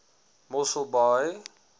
mosselbaai